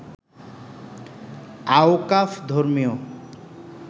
আওকাফ ধর্মীয়